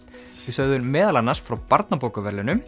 við sögðum meðal annars frá